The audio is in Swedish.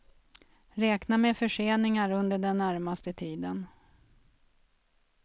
Räkna med förseningar under den närmaste tiden.